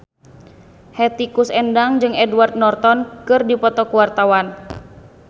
Hetty Koes Endang jeung Edward Norton keur dipoto ku wartawan